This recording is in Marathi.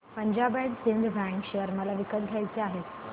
Punjab and Sind Bank share मला विकत घ्यायचे आहेत